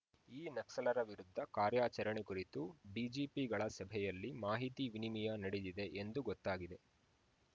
ಈ ನಕ್ಸಲರ ವಿರುದ್ಧ ಕಾರ್ಯಾಚರಣೆ ಕುರಿತು ಡಿಜಿಪಿಗಳ ಸಭೆಯಲ್ಲಿ ಮಾಹಿತಿ ವಿನಿಮಿಯ ನಡೆದಿದೆ ಎಂದು ಗೊತ್ತಾಗಿದೆ